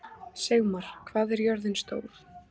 Sigmar, hvað er jörðin stór?